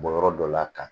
Bɔ yɔrɔ dɔ la ka